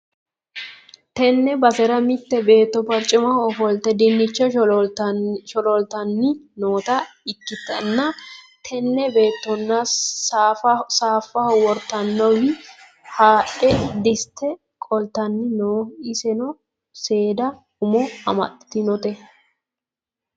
tenne basera mitte betto barcimaho ofolte dinnicha sholooltanni noota ikkitanna, tini beettono saafaho wortinowiinni haadhe dissite qoltanni no, iseno seeda umo amaxxitinote.